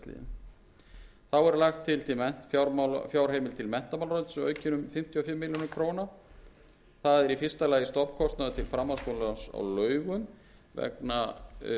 í samræmi við lög sem samþykkt voru tólfta desember síðastliðinn þá er lagt til að fjárheimild til menntamálaráðuneytis verði aukin um fimmtíu